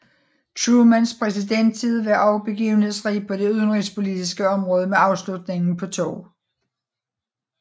Trumans præsidenttid var også begivenhedsrig på det udenrigspolitiske område med afslutningen på 2